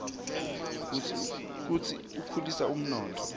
futsi akhulisa umnotfo